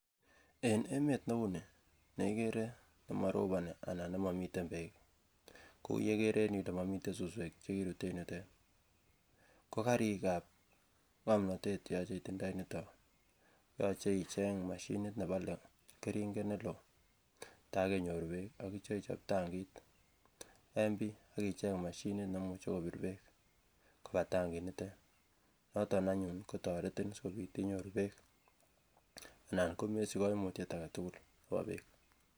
en emet neunii neikere nemoroboni anan nemomiten beek kou yekere en yuu ile momiten suswek chekirut en yutet kokarikab ngomnotet cheyoche itindoi en yuto yoche icheng moshinit nebole keringet neloo tar kenyor beek akitya ichop tankit en bii ak icheng moshinit nemuche kobir beek koba tankit nitet noton anyun kotoretin sikobit inyoru beek anan komesich koimutyet aketugul nebo beek